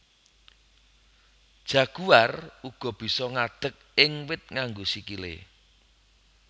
Jaguar uga bisa ngadeg ing wit nganggo sikilé